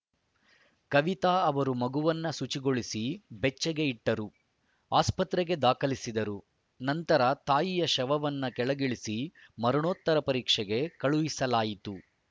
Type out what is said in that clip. ಕವಿತಾ ಅವರು ಮಗುವನ್ನು ಶುಚಿಗೊಳಿಸಿ ಬೆಚ್ಚಗೆ ಇಟ್ಟರು ಆಸ್ಪತ್ರೆಗೆ ದಾಖಲಿಸಿದರು ನಂತರ ತಾಯಿಯ ಶವವನ್ನು ಕೆಳಗಿಳಿಸಿ ಮರಣೋತ್ತರ ಪರೀಕ್ಷೆಗೆ ಕಳುಹಿಸಲಾಯಿತು